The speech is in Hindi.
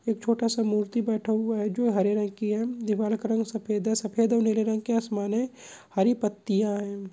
एक छोटा सा मूर्ति बैठा हुआ है जो हरे रंग की है दीवाल का रंग सफ़ेद है सफ़ेद और नीले रंग के आसमान हैं हरी पत्तियां हैं।